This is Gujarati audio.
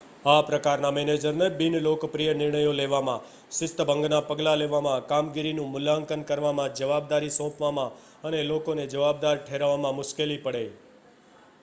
આ પ્રકારના મેનેજરને બિનલોકપ્રિય નિર્ણયો લેવામાં શિસ્તભંગના પગલાં લેવામાં કામગીરીનું મૂલ્યાંકન કરવામાં જવાબદારી સોંપવામાં અને લોકોને જવાબદાર ઠેરવવામાં મુશ્કેલી પડે